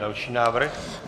Další návrh.